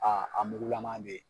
A a mugu lama bɛ ye.